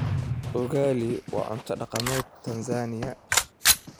Ugali waa cunto dhaqameed Tansaaniya.